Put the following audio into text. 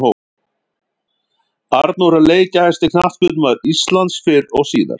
Arnór er leikjahæsti knattspyrnumaður Íslands fyrr og síðar.